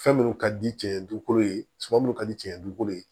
Fɛn minnu ka di cɛ ye dukolo ye suman minnu ka di cɛncɛn dugukolo ye